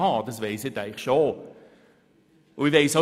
Dessen bin ich mir schon bewusst.